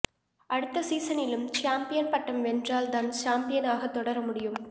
அடுத்த சீசனிலும் சாம்பியன் பட்டம் வென்றால் தான் சாம்பியனாக தொடர முடியும்